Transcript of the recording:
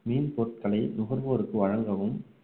மீன் பொருட்களை நுகர்வோருக்கு வழங்கவும்